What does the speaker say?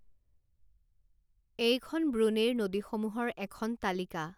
এইখন ব্ৰুণেইৰ নদীসমূহৰ এখন তালিকা।